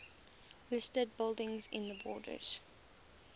listed buildings in the borders